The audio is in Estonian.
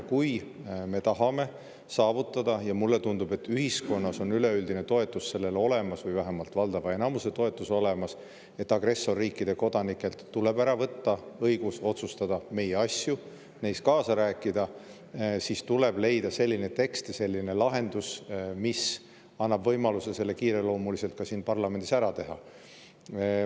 Kui me tahame saavutada – ja mulle tundub, et ühiskonnas on üleüldine toetus või vähemalt valdava enamuse toetus sellele olemas –, et agressorriikide kodanikelt tuleb ära võtta õigus otsustada meie asju, neis kaasa rääkida, siis tuleb leida selline tekst ja selline lahendus, mis annab võimaluse see kiireloomuliselt siin parlamendis ära teha.